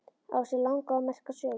Á sér langa og merka sögu.